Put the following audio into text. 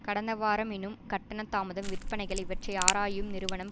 கடந்த வாரம் எனும் கட்டண தாமதம் விற்பனைகள் இவற்றை ஆராயும் நிறுவனம்